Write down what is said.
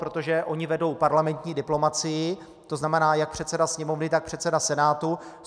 Protože oni vedou parlamentní diplomacii, to znamená, jak předseda Sněmovny, tak předseda Senátu.